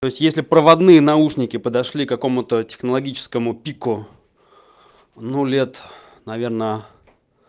то есть если проводные наушники подошли к кому-то технологическому пику ну лет наверное